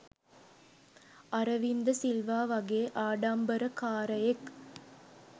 අරවින්ද සිල්වා වගේ ආඩම්බරකාරයෙක්